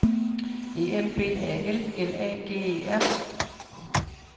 E M B A L L A G E R